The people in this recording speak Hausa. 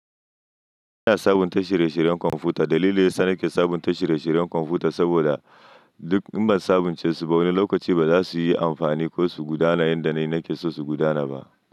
Ina sabunta shire-shiren kwamfuta. Dalilin da ya sa nake sabunta shire-shiren kwamfuta saboda duk in ban sabunce su, wani lokaci ba za su yi amfani ko su gudanar da yanda na nake so su gudana ba.